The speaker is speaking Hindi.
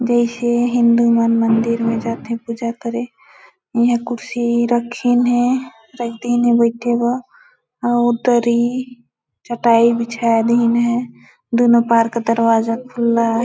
जैसे हिंदू मन मंदिर में जाते पूजा करें यहां कुर्सी रखी नहीं है बैठे हुआ औरतरी चटाई बिछायाधीन है दोनों पार का दरवाजा खुला है।